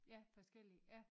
Ja forskellige ja